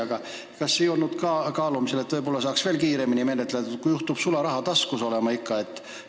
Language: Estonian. Aga kas ei olnud kaalumisel, et võib-olla saaks veel kiiremini menetletud, kui juhtub sularaha taskus olema?